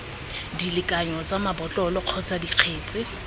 dilekanyo tsa mabotlolo kgotsa dikgetse